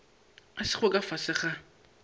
a sego ka fase ga